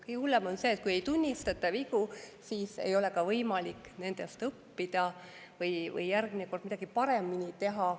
Kõige hullem on see, kui ei tunnistata vigu, sest siis ei ole ka võimalik nendest õppida või järgmine kord midagi paremini teha.